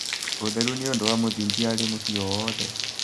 ũtheru nĩ ũndũ wa mũthingi harĩ mũciĩ o wothe